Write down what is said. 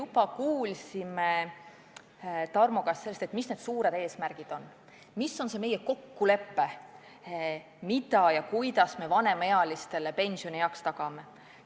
Me kuulsime Tarmo käest, mis need suured eesmärgid on, mis on see meie kokkulepe, kuidas me vanemaealistele pensioni tagame.